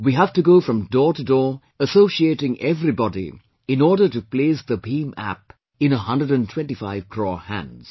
We have to go from door to door associating everybody in order to place the BHIM App in 125 crore hands